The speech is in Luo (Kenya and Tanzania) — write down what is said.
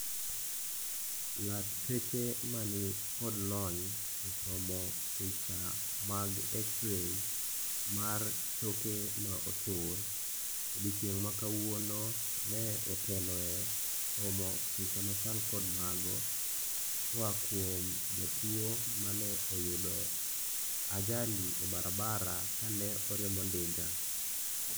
Lakteche manikod lony e somo picha mag xray mar choke ma otur odiechieng' ma kawuono ne oteloe somo picha machal kod mago koa kuom jatuo mane oyudo ajali e barabara kane oriembo ndiga.